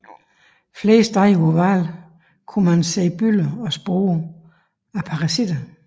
Flere steder på hvalen kunne man se bylder og spor efter parasitter